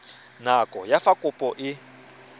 nako ya fa kopo e